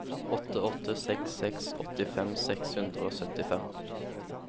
åtte åtte seks seks åttifem seks hundre og syttifem